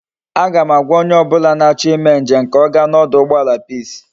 A ga m agwa onye obula na acho ime njem ka oga na oduugbala peace